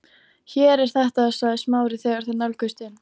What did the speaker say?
Hér er þetta sagði Smári þegar þeir nálguðust inn